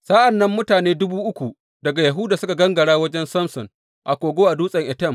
Sa’an nan mutane dubu uku daga Yahuda suka gangara wajen Samson a kogo a dutsen Etam.